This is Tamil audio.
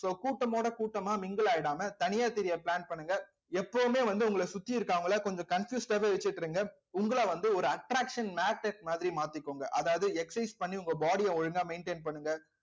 so கூட்டமோட கூட்டமா mingle ஆயிடாம தனியா சிரிக்க plan பண்ணுங்க எப்பவுமே வந்து உங்களை சுத்தி இருக்கிறவங்களை கொஞ்சம் confused ஆவே வச்சிக்கிறுங்க உங்களை வந்து ஒரு attraction magnet மாதிரி மாத்திக்கோங்க அதாவது exercise பண்ணி உங்க body அ ஒழுங்கா maintain பண்ணுங்க